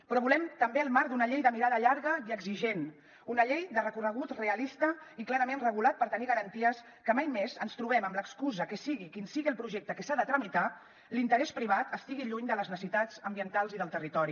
però volem també el marc d’una llei de mirada llarga i exigent una llei de recorregut realista i clarament regulat per tenir garanties que mai més ens trobem amb l’excusa que sigui quin sigui el projecte que s’ha de tramitar l’interès privat estigui lluny de les necessitats ambientals i del territori